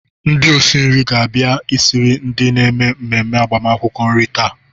Ndị osi nri ga-abia esiri ndị na-eme mmemme agbamakwụkwọ nri taa.